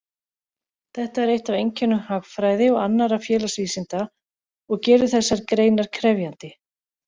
Þetta er eitt af einkennum hagfræði og annarra félagsvísinda og gerir þessar greinar krefjandi.